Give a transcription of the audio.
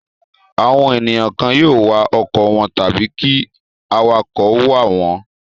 Àwọn ènìyàn kan yóò wa ọkọ̀ wọn tàbí kí awakọ̀ wà wọ̀n ọ́n.